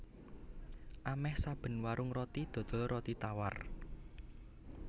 Amèh saben warung roti dodol roti tawar